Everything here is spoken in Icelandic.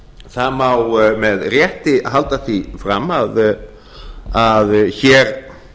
það má með rétti halda því fram að hér